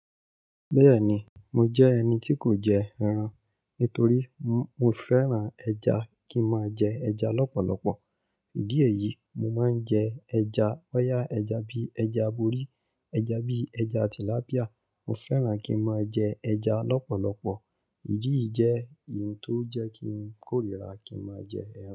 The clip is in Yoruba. Bẹ́ẹ̀ni, mo jẹ́ ẹni tí kò jẹ ẹran. Nítorí mo fẹ́ran ẹja, kí n máa jẹ ẹja lọ́pọ̀lọpọ̀. Ìdí èyí, mo máa ń jẹ ẹja. Bọ́yà ẹja bí ẹja aborí, ẹja bí ẹja tilapía. Mo fẹ́ran kí n máa jẹ ẹja lọ́pọ̀lọpọ̀. Ìdí yìí jẹ́ ohun tó jẹ́ kí n kórìíra kí n máa jẹ ẹran.